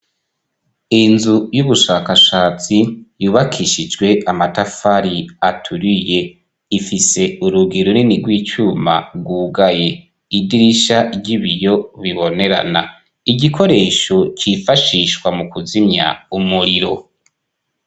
Inzu y'ubushakashatsi yubakishijwe amatafari aturiye. Ifise urugi runini rw'icuma rwugaye. Idirisha ry'ibiyo ribonerana, igikoresho cifashishwa mu kuzimya umuriro.